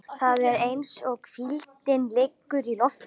Það er eins og hvíldin liggi í loftinu.